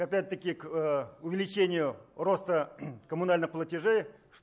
опять таки к увеличению роста коммунальных платежей